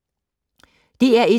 DR1